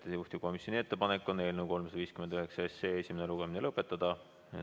Juhtivkomisjoni ettepanek on eelnõu 359 esimene lugemine lõpetada.